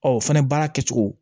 Ɔ o fɛnɛ baara kɛ cogo